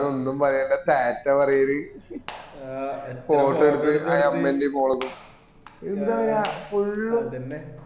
എന്താന്ന് ഒന്നും പറയണ്ട ടാറ്റ പറയൽ photo എടുപ്പ് അമ്മേൻറേം മോളതും